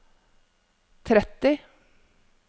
tretti